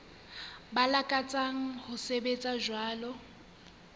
ba lakatsang ho sebetsa jwalo